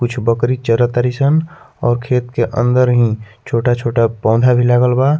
कुछ बकरी चरअ तारी सन और खेत के अंदर हीं छोटा-छोटा पौधा भी लागल बा।